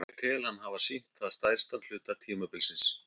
Ég tel hann hafa sýnt það stærstan hluta tímabilsins.